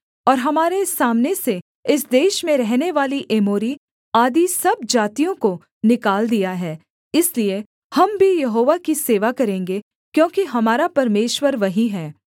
और हमारे सामने से इस देश में रहनेवाली एमोरी आदि सब जातियों को निकाल दिया है इसलिए हम भी यहोवा की सेवा करेंगे क्योंकि हमारा परमेश्वर वही है